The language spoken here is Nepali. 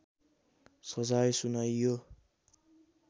सजाय सुनाइयो